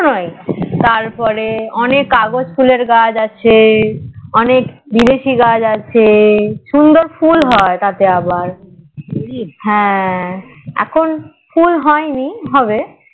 তার পরে অনেক কাগজ ফুলের গাছ আছে অনেক বিদেশি গাছ আছে অনেক সুন্দর ফুল হয় তাতে তাতে আবার হ্যাঁ এখন হয়নি হবে